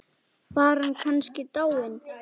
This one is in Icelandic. Var hann kannski dáinn?